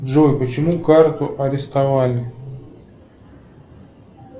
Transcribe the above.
джой почему карту арестовали